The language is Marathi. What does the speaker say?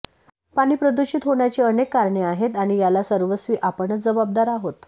पाणी प्रदुषित होण्याची अनेक कारणे आहेत आणि याला सर्वस्वी आपणच जबाबदार आहोत